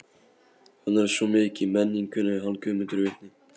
Hann er svo mikið í menningunni, hann Guðmundur vitni.